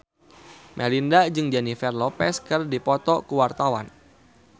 Melinda jeung Jennifer Lopez keur dipoto ku wartawan